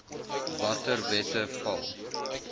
watter wette val